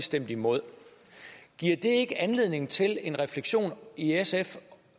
stemte imod giver det ikke anledning til en refleksion i sf